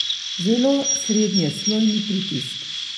Zelo srednjeslojni pritisk!